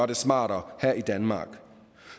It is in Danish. det smartere her i danmark